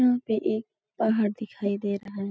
यहाँ पे एक पहाड़ दिखाई दे रहा है |